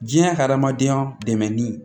Diɲɛ ka hadamadenya dɛmɛni